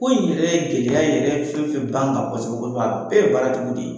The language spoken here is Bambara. Ko in yɛrɛ gɛlɛya yɛrɛ fɛn o fɛn b'an kan kosɛbɛ kod bɛɛ ye baaratigiw de ye.